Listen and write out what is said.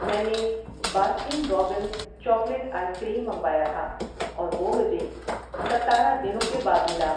میں نے Baskin Robbins chocolate ice cream منگوایا تھا اور وہ مجھے ستارہ دنوں کے بعد ملا۔